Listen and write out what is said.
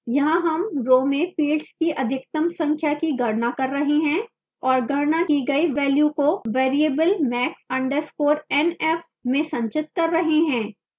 यहाँ हम row में fields की अधिकतम संख्या की गणना कर रहे हैं और गणना की गई वेल्यू को variable max _ nf में संचित कर रहे हैं